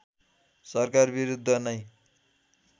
सरकार विरूद्ध नै